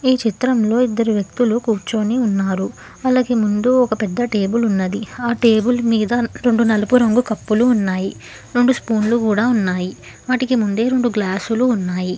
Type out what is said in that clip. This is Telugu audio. ఈ చిత్రంలో ఇద్దరు వ్యక్తులు కూర్చొని ఉన్నారు వాళ్లకి ముందు ఒక పెద్ద టేబుల్ ఉన్నది ఆ టేబుల్ మీద రొండు నలుపు రంగు కప్పులు ఉన్నాయి రొండు స్పూన్లు కూడా ఉన్నాయి వాటికి ముందే రొండు గ్లాసులు ఉన్నాయి.